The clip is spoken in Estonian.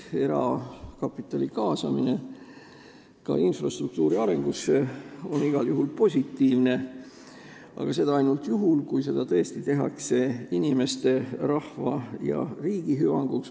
Erakapitali kaasamine ka infrastruktuuri arendamisse on igal juhul positiivne, aga seda ainult juhul, kui seda tõesti tehakse inimeste, rahva ja riigi hüvanguks.